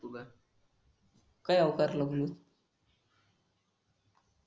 काय अवतारल